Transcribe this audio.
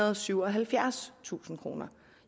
og syvoghalvfjerdstusind kroner